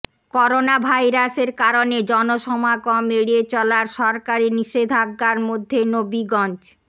করোনাভাইরাসের কারণে জনসমাগম এড়িয়ে চলার সরকারি নিষেধাজ্ঞার মধ্যে নবীগঞ্জ